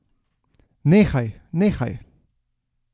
Nehaj, nehaj.